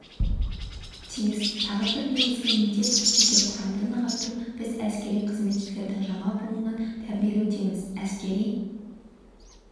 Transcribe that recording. тиіс тағы бір негізгі міндет жеке құрамды нығайту біз әскери қызметшілердің жаңа буынын тәрбиелеудеміз әскери